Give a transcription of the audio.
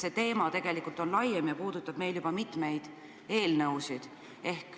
See teema on tegelikult laiem ja puudutab mitut eelnõu.